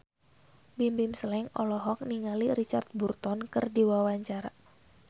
Bimbim Slank olohok ningali Richard Burton keur diwawancara